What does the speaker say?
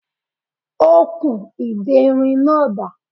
Okùn ìderin náà dà?